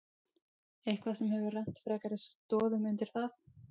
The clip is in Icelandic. Eitthvað sem hefur rennt frekari stoðum undir það?